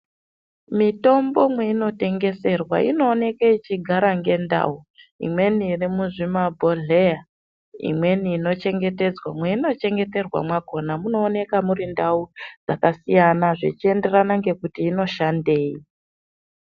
Mitombo mweinotengeserwa inooneke ichigara ngendau. Imweni iri muzvimabhodhleya, imweni inochengetedzwa mweinochengeterwa mwakona munooneka muri ndau dzakasiyana zvichienderana ngekuti inoshandei.